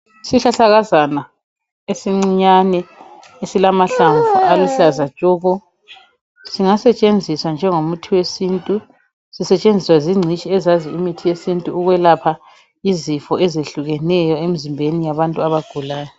Isihlahlakazana esincinyane esilamahlamvu aluhlaza tshoko singasetshenziswa njengo muthi wesintu sisetshenziswa zingcitshi ezazi umuthi wesintu ukwelapha izifo ezehlukeneyo emzimbeni wabantu abagulayo